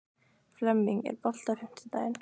Flemming, er bolti á fimmtudaginn?